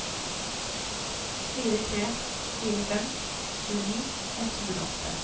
fire tre fire fem tjueni ett hundre og åtte